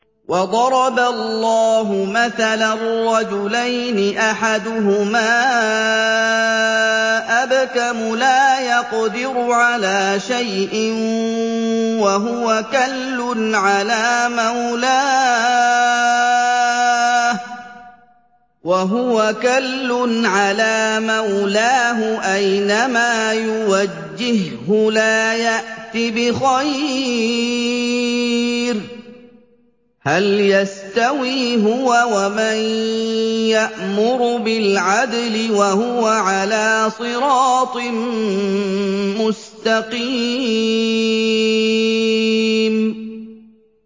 وَضَرَبَ اللَّهُ مَثَلًا رَّجُلَيْنِ أَحَدُهُمَا أَبْكَمُ لَا يَقْدِرُ عَلَىٰ شَيْءٍ وَهُوَ كَلٌّ عَلَىٰ مَوْلَاهُ أَيْنَمَا يُوَجِّههُّ لَا يَأْتِ بِخَيْرٍ ۖ هَلْ يَسْتَوِي هُوَ وَمَن يَأْمُرُ بِالْعَدْلِ ۙ وَهُوَ عَلَىٰ صِرَاطٍ مُّسْتَقِيمٍ